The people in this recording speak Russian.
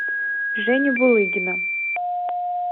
женю булыгина